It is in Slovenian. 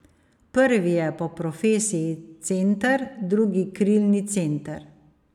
Prvi je po profesiji center, drugi krilni center.